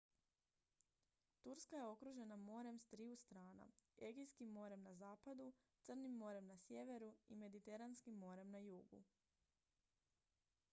turska je okružena morem s triju strana egejskim morem na zapadu crnim morem na sjeveru i mediteranskim morem na jugu